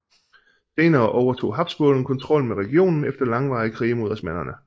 Senere overtog Habsburgerne kontrollen med regionen efter langvarige krige mod osmannerne